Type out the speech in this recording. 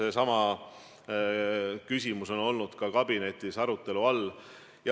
Tõesti, see küsimus on olnud ka kabinetis arutelu all.